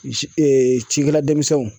Ci ee cikɛladenmisɛnw